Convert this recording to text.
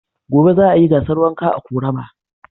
Gobe za a yi gasar wanka a ƙorama.